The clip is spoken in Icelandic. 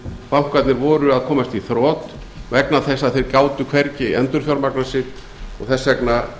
bankarnir voru að komast í þrot vegna þess að þeir gátu hvergi endurfjármagnað sig og þess vegna